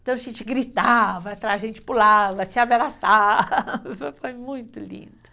Então a gente gritava, então a gente pulava, se abraçava, foi muito lindo.